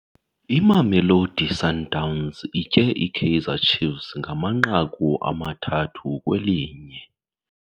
Imamelodi Sundowns itye iKaizer Chiefs ngamanqaku amathathu kwelinye.